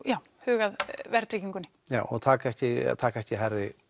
huga að verðtryggingunni já og taka ekki taka ekki